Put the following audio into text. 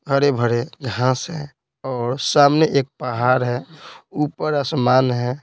हरे भरे घास है और सामने एक पहाड़ है ऊपर आसमान है।